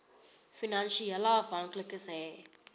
finansiële afhanklikes hê